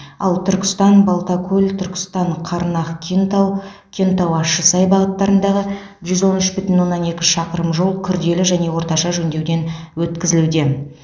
ал түркістан балтакөл түркістан қарнақ кентау кентау ащысай бағыттарындағы жүз он үш бүтін оннан екі шақырым жол күрделі және орташа жөндеуден өткізілуде